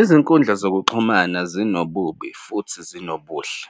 Izinkundla zokuxhumana zinobubi futhi zinobuhle.